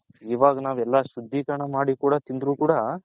ಇವಾಗ ನಾವ್ ಎಲ್ಲಾ ಶುದ್ದಿ ಕರಣ ಮಾಡಿ ತಿಂದರು ಕೂಡ